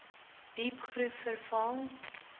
diep groef verval